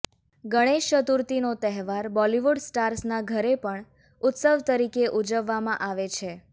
ગણેશ ચતુર્થીનો તહેવાર બોલીવુડ સ્ટાર્સના ઘરે પણ ઉત્સવ તરીકે ઉજવવામાં આવે છે